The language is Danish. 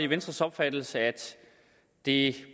venstres opfattelse at det